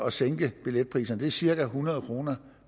at sænke billetpriserne det er cirka hundrede kroner